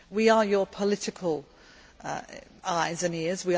We are your political eyes and ears.